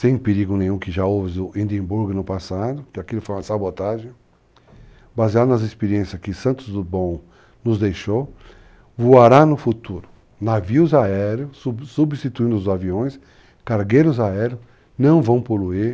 sem perigo nenhum, que já houve no Edimburgo no passado, que aquilo foi uma sabotagem, baseado nas experiências que Santos Dubon nos deixou, voará no futuro navios aéreos, substituindo os aviões, cargueiros aéreos, não vão poluir,